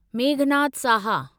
Meghnad Saha